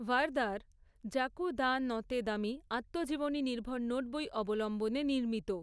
ভারদার "Jacquot de Nantes দ্যমি", আত্মজীবনী নির্ভর নোটবই অবলম্বনে নির্মিত।